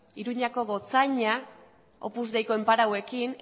iruñako gotzainak opus deiko enparatuekin